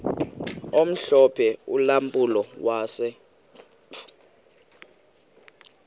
omhlophe ulampulo wase